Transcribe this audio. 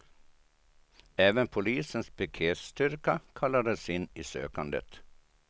Även polisens piketstyrka kallades in i sökandet.